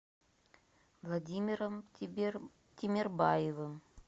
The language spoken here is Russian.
владимиром тимербаевым